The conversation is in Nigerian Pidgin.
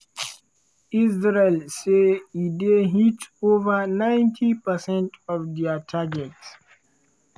israel say e dey hit ova 90 percent of dia targets.